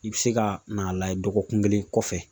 I be se ka n'a layɛ dɔgɔkun kelen kɔfɛ.